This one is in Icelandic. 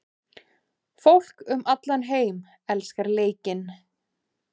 Fólk um allan heim elskar leikinn.